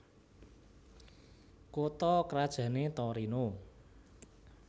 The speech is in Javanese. Kutha krajané Torino